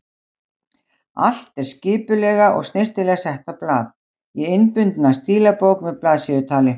Allt er skipulega og snyrtilega sett á blað, í innbundna stílabók með blaðsíðutali.